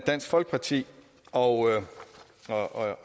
dansk folkeparti og